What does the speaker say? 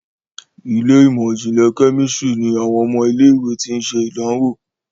Ilé ìmọ̀n-jinlẹ Kẹ́mísìrì ní àwọn ọmọ ilé ìwé ti. ṣe idanwò.